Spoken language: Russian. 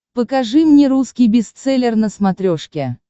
покажи мне русский бестселлер на смотрешке